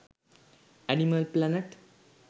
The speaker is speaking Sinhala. animal planet